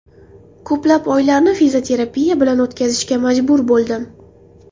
Ko‘plab oylarni fizioterapiya bilan o‘tkazishga majbur bo‘ldim.